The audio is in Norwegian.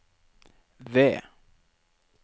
ved